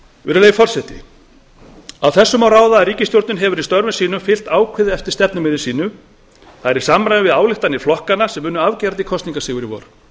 virðulegi forseti af þessu má ráða að ríkisstjórnin hefur í störfum sínum fylgt ákveðið eftir stefnumiði sínu það er í samræmi við ályktanir flokkanna sem unnu afgerandi kosningasigur í vor